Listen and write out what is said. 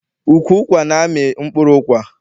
Ukwu ụkwa na-amị mkpụrụ ụkwa.